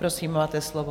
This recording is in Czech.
Prosím, máte slovo.